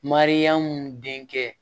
Mariyamu denkɛ